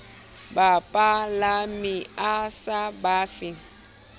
bapalami a sa ba fe